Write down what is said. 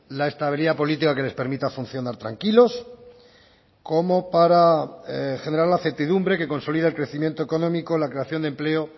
la estabilidad política que les permita funcionar tranquilos como para generar la certidumbre que consolida el crecimiento económico la creación de empleo